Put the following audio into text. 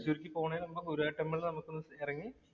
പോണേ നമുക്ക് ഗുരുവായൂര്‍ ടെമ്പിളില്‍ നമുക്കൊന്നിറങ്ങി